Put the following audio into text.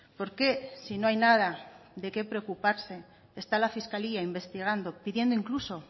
por qué si no hay nada de qué preocuparse está la fiscalía investigando pidiendo incluso